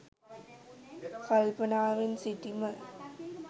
කල්පනාවෙන් සිටීම.